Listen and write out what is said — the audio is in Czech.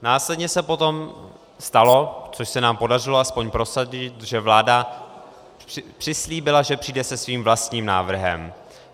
Následně se potom stalo, což se nám podařilo aspoň prosadit, že vláda přislíbila, že přijde se svým vlastním návrhem.